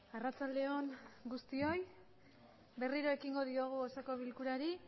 arratsalde on guztioi berriro ekingo diogu osoko bilkurari